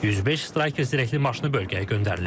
105 Stryker zirehli maşını bölgəyə göndərilib.